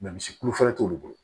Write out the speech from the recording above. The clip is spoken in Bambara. misi kulu fɔlɔ t'olu bolo